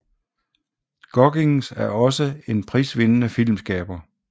Goggins er også en prisvindende filmskaber